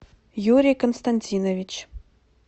юрий константинович